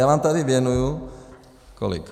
Já vám tady věnuji - kolik?